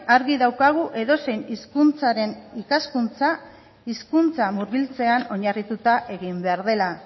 argi daukagu edozein hizkuntzaren ikaskuntza hizkuntza murgiltzean oinarrituta egin behar dela